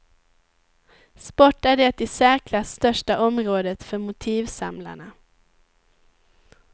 Sport är det i särklass största området för motivsamlarna.